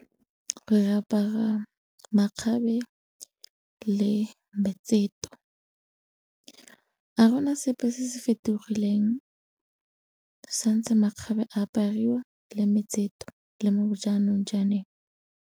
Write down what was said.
Re apara makgabe le metseto, ga gona sepe se se fetogileng santse makgabe a apariwa le metseto le mo jaanong .